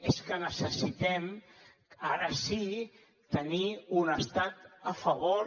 és que necessitem ara sí tenir un estat a favor